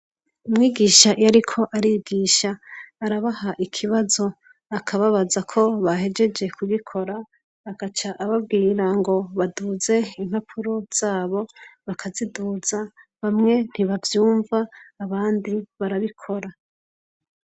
Umwigisha iyo ariko arigisha arabaha ikibazo akababaza ko bahegeje kugikora agaca ababwira ngo baduze impapuro zabo bakaziduza bamwe ntibavyumva abandi barabikora.